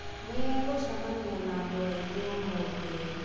Nĩ egũcemania na andũ angĩ ũmũthĩ?